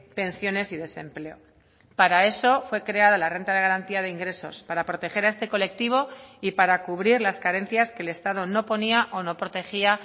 pensiones y desempleo para eso fue creada la renta de garantía de ingresos para proteger a este colectivo y para cubrir las carencias que el estado no ponía o no protegía